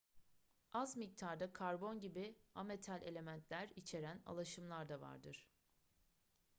az miktarda karbon gibi ametal elementler içeren alaşımlar da vardır